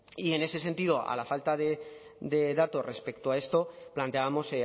y en ese sentido a la falta de datos respecto a esto planteábamos